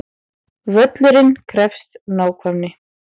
Völlurinn krefst nákvæmni